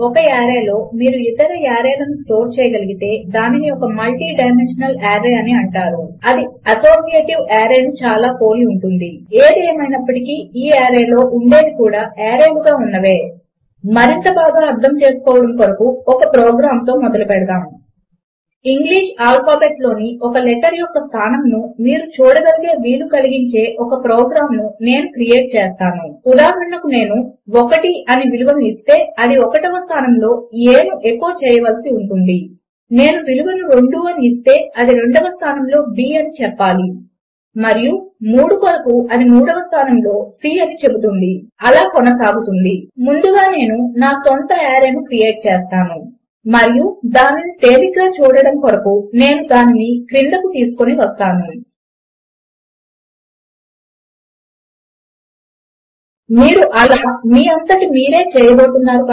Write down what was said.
ఒక యారే లో మీరు ఇతర యారే లను స్టోర్ చేయగలిగితే దానిని ఒక మల్టీ డైమెన్షనల్ యారే అని అంటారు